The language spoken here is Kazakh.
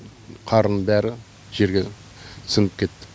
қардың бәрі жерге сіңіп кетті